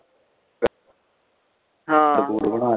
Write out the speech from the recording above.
ਹਾਂ